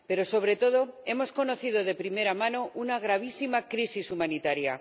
Pero, sobre todo, hemos conocido de primera mano una gravísima crisis humanitaria.